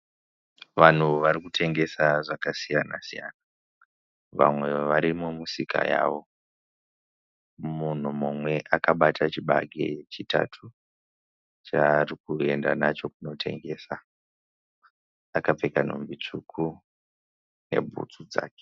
Vanhu vari kutengesa zvakasiyana siyana. Vamwe vari mumusika yavo. Munhu mumwe akabata chibage chitatu chaari kuenda kundotengesa akapfeka nhumbi tsvuku nebhutsu dzake.